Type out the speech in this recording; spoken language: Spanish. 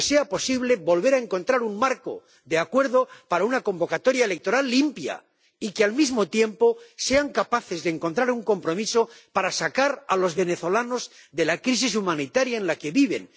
que sea posible volver a encontrar un marco de acuerdo para una convocatoria electoral limpia y que, al mismo tiempo, sean capaces de encontrar un compromiso para sacar a los venezolanos de la crisis humanitaria en la que viven